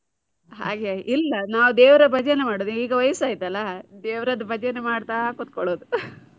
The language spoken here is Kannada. ಹಾಗೆ ಆಗಿ ಇಲ್ಲ ನಾವು ದೇವರ ಭಜನೆ ಮಾಡುದು ಈಗ ವಯಸ್ಸ ಆಯ್ತಲ್ಲ, ದೇವರದ್ದು ಭಜನೆ ಮಾಡ್ತಾ ಕುತ್ಕೊಳ್ಳುದು .